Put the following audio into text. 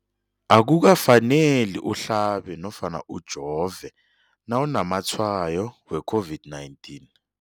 Akuka faneli uhlabe nofana ujove nawu namatshayo we-COVID-19.